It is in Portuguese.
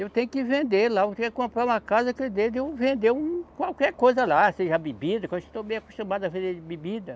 Eu tenho que vender lá, eu tenho que comprar uma casa que dê de eu vender um, qualquer coisa lá, seja bebida, que eu estou bem acostumado a vender bebida.